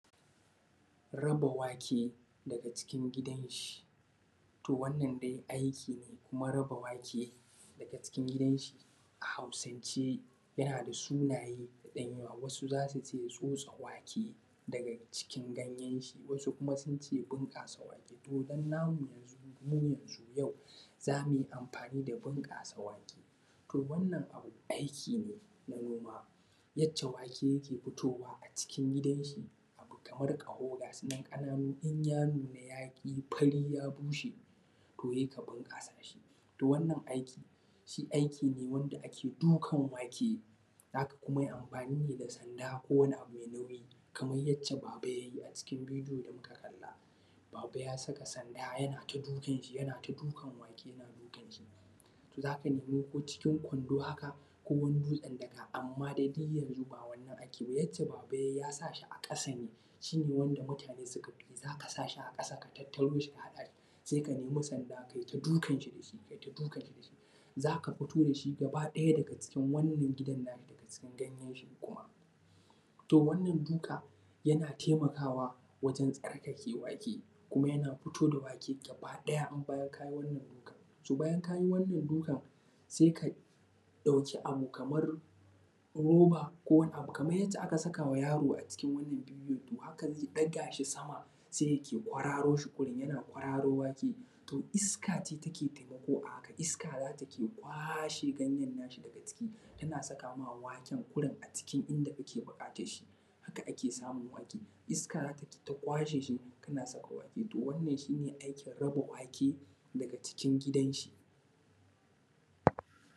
Raba wake daga cikin gidan shi to wannan dai aiki ne kuma raba wake daga cikin gidan shi a Hausance yana da sunaye da yawa wasu za su ce tsotsa wake daga cikin ganyan shi, wasu kuma sun ce bunƙasa wake to muna, mu yanzun mu yanzun yau za mu yi amfani da bunƙasa wake. To, wannan abu ɗaya kenan yac ce wake yake futowa a cikin gidan shi kamar ƙaho gasu nan ƙananu in ya nuna ya yi fari ya bushe, to ya yi kaman ka sa shi to wannan aiki shi aiki ne wanda ake dukan wake, za ka yi kuma amfani ne da sanda ko kuma wani abu mai nauyi kamar yacca baba ya yi a cikin bidiyo da muka gani, cikin kwando haka ko wani dutsen daka, amma dai duk yanzun ba wannan ake ba. Yadda baba ya yi ya sa shi a ƙasa ne shi ne wanda mutane suka fi yi za ka sa shi a ƙasa ne a tattaro shi a haɗa shi, sai ka nemi sanda kai ta dukan shi kaita dukan shi za ka futo da shi gabaɗaya daga cikin wannan gidan na shi, daga cikin ganyanshi kuma to wannan duka yana taimakawa wajen tsarkake wake, kuma yana fito da wake gabaɗaya. Bayan ka yi wannan dukan to bayan ka yi wannan dukan sai ka ɗauki abu kamar roba ko wani abu kamar yadda aka saka ma yaro a cikin wannan bidiyon, to hakan zai ɗaga shi sama sai yana kwaro shi yana kwaro waken, to iska ce take taimako a haka iska ne za ta kwashe ganyen na shi daga ciki tana saka ma waken wurin, a cikin inda kake buƙatar shi, haka ake samun wake iska za ta yi ta kwashe shi kana samun wake to wannan shi ne aikin raba wake daga cikin gidan shi.